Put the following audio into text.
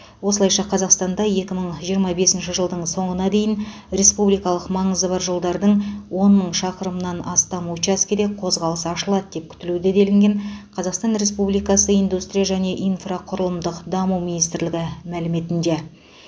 осылайша қазақстанда екі мың жиырма бесінші жылдың соңына дейін республикалық маңызы бар жолдардың он мың шақырымыннан астам учаскеде қозғалыс ашылады деп күтілуде делінген қазақстан республикасы индустрия және инфрақұрылымдық даму министрлігі мәліметінде